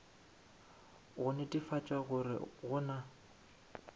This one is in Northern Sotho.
go netefatša gore go na